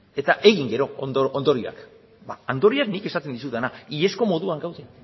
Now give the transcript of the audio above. eta egin gero ondorioak ondorioak nik esaten dizudana iazko moduan gaude